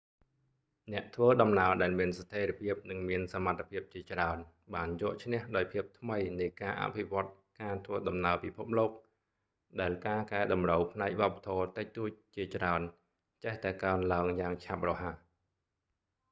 អ្នកធ្វើដំណើរដែលមានស្ថេរភាពនិងមានសមត្ថភាពជាច្រើនបានយកឈ្នះដោយភាពថ្មីនៃការអភិវឌ្ឍន៍ការធ្វើដំណើរពិភពលោក ដែលការកែតម្រូវផ្នែកវប្បធម៌តិចតួចជាច្រើនចេះតែកើនឡើងយ៉ាងឆាប់រហ័ស